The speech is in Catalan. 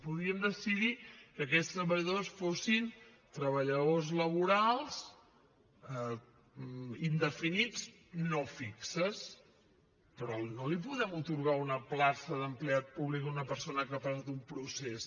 podríem decidir que aquests treballadors fossin treballadors laborals indefinits no fixos però no li podem atorgar una plaça d’empleat públic a una persona que no ha passat un procés